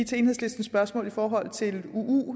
til enhedslistens spørgsmål i forhold til uu